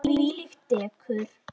Þvílíkt dekur.